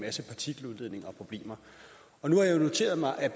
masse partikeludledning og problemer nu har jeg jo noteret mig at